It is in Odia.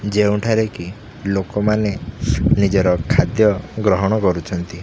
ଯେଉଁଠାରେ କି ଲୋକମାନେ ନିଜର ଖାଦ୍ୟ ଗ୍ରହଣ କରୁଛନ୍ତି।